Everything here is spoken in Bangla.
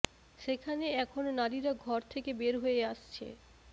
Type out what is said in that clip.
সেখানে এখন নারীরা ঘর থেকে বের হয়ে আসছে